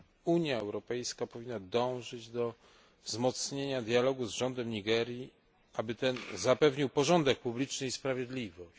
Unia Europejska powinna dążyć do wzmocnienia dialogu z rządem Nigerii, aby ten zapewnił porządek publiczny i sprawiedliwość.